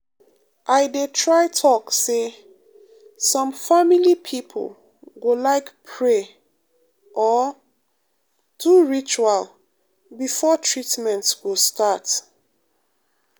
i dey try talk say some family people go like pray or um do ritual before treatment go start. um